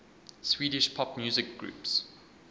swedish pop music groups